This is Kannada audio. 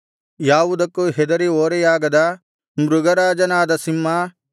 ಯಾವುದಕ್ಕೂ ಹೆದರಿ ಓರೆಯಾಗದ ಮೃಗರಾಜನಾದ ಸಿಂಹ